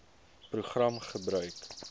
program gebruik